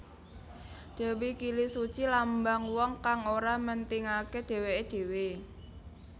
Dewi Kilisuci lambang wong kang ora mentingaké dhéwéké dhéwé